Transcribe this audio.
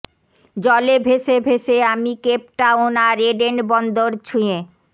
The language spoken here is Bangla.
জলে ভেসে ভেসে আমি কেপটাউন আর এডেন বন্দর ছুঁয়ে